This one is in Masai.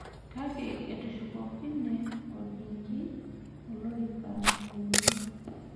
Kake etushukokine orkingi olorika lenye.